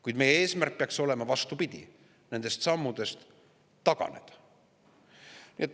Kuid meie eesmärk peaks olema vastupidine: nendest sammudest taganemine.